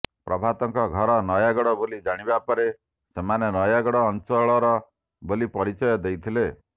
ପ୍ରଭାତଙ୍କ ଘର ନୟାଗଡ଼ ବୋଲି ଜାଣିବା ପରେ ସେମାନେ ନୟାଗଡ଼ ଅଞ୍ଚଳର ବୋଲି ପରିଚୟ ଦେଇଥିଲେ